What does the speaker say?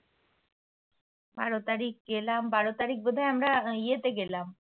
বারো তারিখ গেলাম। বারো তারিখ বোধ হয় আমরা ইয়ে তে গেলাম।